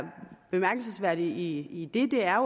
bemærkelsesværdigt i det er